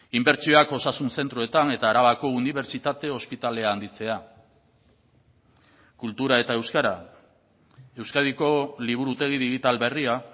inbertsioak osasun zentroetan eta arabako unibertsitate ospitalea handitzea kultura eta euskara euskadiko liburutegi digital berria